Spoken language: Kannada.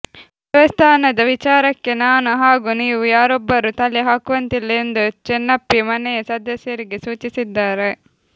ದೇವಸ್ಥಾನದ ವಿಚಾರಕ್ಕೆ ನಾನು ಹಾಗೂ ನೀವು ಯಾರೊಬ್ಬರೂ ತಲೆ ಹಾಕುವಂತಿಲ್ಲ ಎಂದು ಚಿನ್ನಪ್ಪಿ ಮನೆಯ ಸದಸ್ಯರಿಗೆ ಸೂಚಿಸಿದ್ದಾರೆ